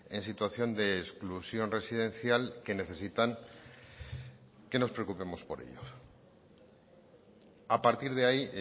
en situación de exclusión residencial que necesitan que nos preocupemos por ellos a partir de ahí